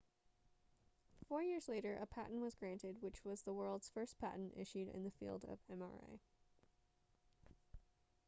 four years later a patent was granted which was the world's first patent issued in the field of mri